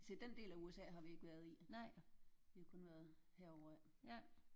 Jeg siger den del af USA har vi ikke været i. Vi har kun været herover af